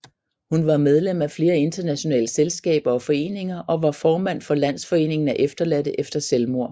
Hun var medlem af flere internationale selskaber og foreninger og var formand for Landsforeningen af efterladte efter selvmord